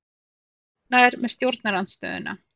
Fáir ánægðir með stjórnarandstöðuna